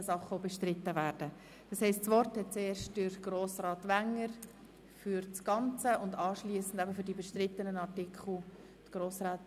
Anschliessend erhält Grossrätin Machado Rebmann das Wort, um sich zu den einzelnen bestrittenen Artikeln zu äussern.